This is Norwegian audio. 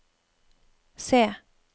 se